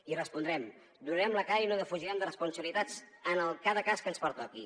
i hi respondrem donarem la cara i no defugirem responsabilitats en cada cas que ens pertoqui